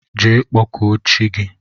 Jee kpọkụọ chi gi!!